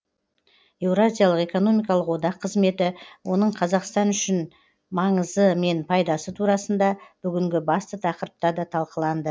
еуразиялық экономикалық одақ қызметі оның қазақстан үшін маңызы мен пайдасы турасында бүгінгі басты тақырыпта да талқыланды